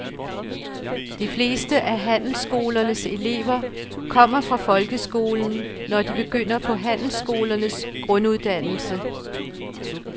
De fleste af handelsskolernes elever kommer fra folkeskolen, når de begynder på handelsskolernes grunduddannelse.